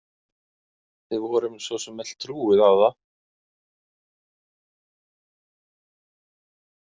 Við vorum svo sem öll trúuð á það.